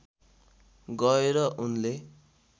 गएर उनले